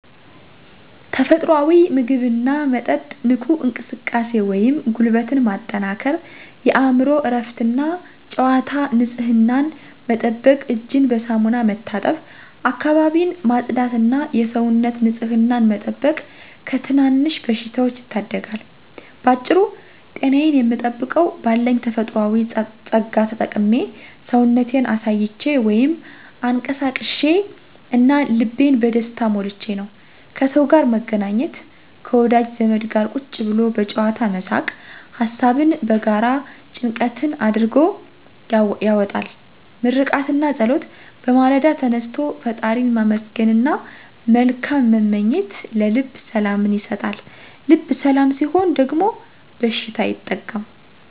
ተፈጥሮአዊ ምግብና መጠጥ ንቁ እንቅስቃሴ (ጉልበትን ማጠንከር) የአእምሮ እረፍትና "ጨዋታ" ንጽህናን መጠበቅ እጅን በሳሙና መታጠብ፣ አካባቢን ማጽዳትና የሰውነት ንጽህናን መጠበቅ ከትናንሽ በሽታዎች ይታደጋል። ባጭሩ ጤናዬን የምጠብቀው "ባለኝ ተፈጥሮአዊ ጸጋ ተጠቅሜ፣ ሰውነቴን አሳይቼ (አንቀሳቅሼ) እና ልቤን በደስታ ሞልቼ" ነው። ከሰው ጋር መገናኘት፦ ከወዳጅ ዘመድ ጋር ቁጭ ብሎ በጨዋታ መሳቅ፣ ሀሳብን መጋራት ጭንቀትን አድርጎ ያወጣል። ምርቃትና ጸሎት፦ በማለዳ ተነስቶ ፈጣሪን ማመስገንና መልካም መመኘት ለልብ ሰላምን ይሰጣል። ልብ ሰላም ሲሆን ደግሞ በሽታ አይጠጋም።